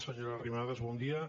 senyora arrimadas bon dia